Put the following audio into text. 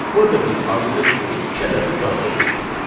Burada biz arqument kimi iki ədədini daxil etdik.